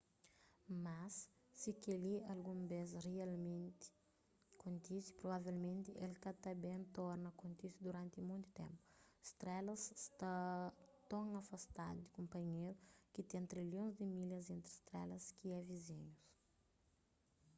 mas si kel-li algun bês rialmenti kontise provavelmenti el ka ta ben torna kontise duranti monti ténpu strelas sta ton afastadu di kunpanhéru ki ten trilhons di milhas entri strelas ki é vizinhus